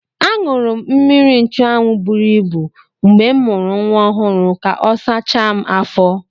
Aṅụrụ m mmiri nchụanwụ buru ibu mgbe m mụrụ nwa ọhụrụ ka ọ sachaa m afọ.